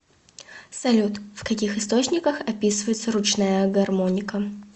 салют в каких источниках описывается ручная гармоника